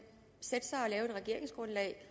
regeringsgrundlag